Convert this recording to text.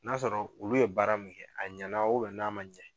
N'a sɔrɔ olu ye baara min kɛ a ɲɛna ubɛn n'a maɲɛ